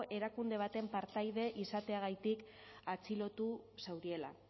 erakunde baten partaide izateagatik atxilotu zauriela